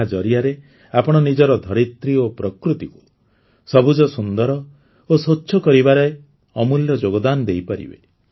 ଏହା ଜରିଆରେ ଆପଣ ନିଜର ଧରିତ୍ରୀ ଓ ପ୍ରକୃତିକୁ ସବୁଜସୁନ୍ଦର ଓ ସ୍ୱଚ୍ଛ କରିବାରେ ଅମୂଲ୍ୟ ଯୋଗଦାନ ଦେଇପାରିବେ